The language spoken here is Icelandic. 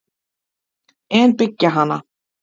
En byggja hana?